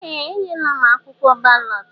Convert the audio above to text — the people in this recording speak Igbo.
Ee! Enyela m akwụkwọ balọt.